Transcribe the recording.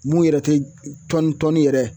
Mun yɛrɛ tɛ tɔni tɔni yɛrɛ